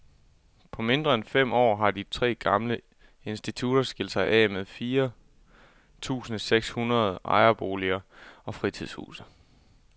På mindre end fem år har de tre gamle institutter skilt sig af med fire tusinde seks hundrede ejerboliger og fritidshuse.